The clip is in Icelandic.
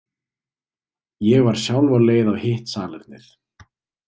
Ég var sjálf á leið á hitt salernið.